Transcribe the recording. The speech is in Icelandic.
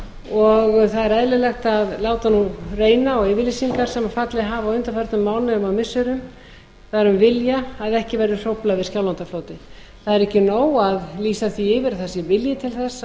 og það er eðlilegt að láta nú reyna á yfirlýsingar sem fallið hafa á undanförnum mánuðum og missirum það er um vilja að ekki verði hróflað við skjálfandafljóti það er ekki nóg að lýsa því